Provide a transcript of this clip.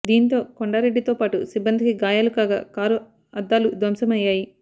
దీనితో కొండారెడ్డి తో పాటు సిబ్బందికి గాయాలు కాగా కారు అద్దాలు ధ్వంసం అయ్యాయి